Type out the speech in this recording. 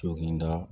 Toginda